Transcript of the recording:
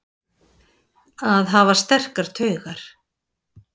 Að hafa sterkar taugar